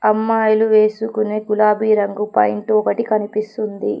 అమ్మాయిలు వేసుకునే గులాబీ రంగు పాయింటు ఒకటి కనిపిస్తుంది.